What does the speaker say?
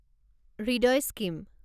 Hridoy scheme